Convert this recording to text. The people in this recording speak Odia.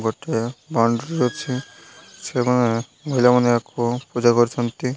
ଗୋଟେ ବାଉଣ୍ଡ୍ରି ଅଛି ସେମାନେ ପିଲାମାନେ ୟାକୁ ପୂଜା କରୁଛନ୍ତି।